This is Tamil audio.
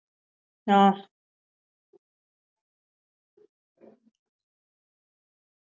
அஹ்